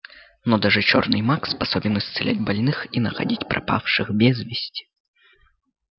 но даже чёрный маг способен исцелять больных и находить пропавших без вести